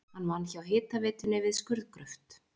Hann vann hjá hitaveitunni við skurðgröft.